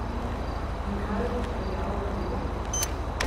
In kaj jo je pripeljalo do tega?